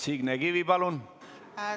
Signe Kivi, palun!